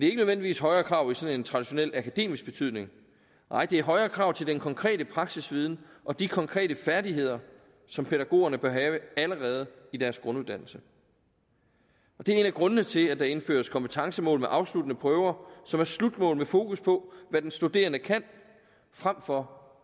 ikke nødvendigvis højere krav i sådan en traditionel akademisk betydning nej det er højere krav til den konkrete praksisviden og de konkrete færdigheder som pædagogerne bør have allerede i deres grunduddannelse det er en af grundene til at der indføres kompetencemål med afsluttende prøver som er slutmål med fokus på hvad den studerende kan frem for